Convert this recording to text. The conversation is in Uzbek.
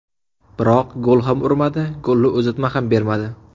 Biroq gol ham urmadi, golli uzatma ham bermadi.